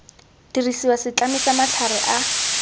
dirisiwa setlami sa matlhare a